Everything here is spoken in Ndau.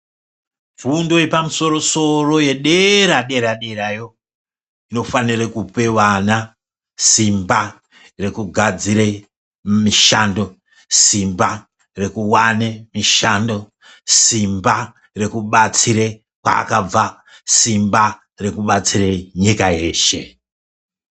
Fundo yemusoro soro yedera dera derayo inofanire kupe vana simba rekugadzire mishando, simba rekuwane mishando, simba rekubatsire kwaakabva, simba rekubatsire nyika yeshe.